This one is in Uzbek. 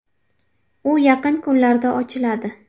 U yaqin kunlarda ochiladi .